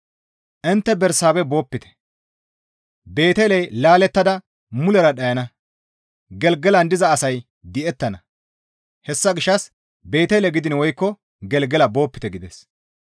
Intte Bersaabehe boopite; Beeteley laalettada mulera dhayana; Gelgelan diza asay di7ettana; hessa gishshas Beetele gidiin woykko Gelgela boopite» gides.